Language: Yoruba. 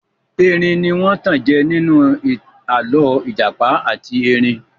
Erin ní wọ́n tanjẹ ninu alọ ìjàpá àti erin.